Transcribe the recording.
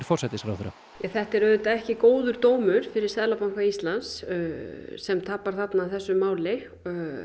forsætisráðherra þetta er auðvitað ekki góður dómur fyrir Seðlabanka Íslands sem tapar þarna þessu máli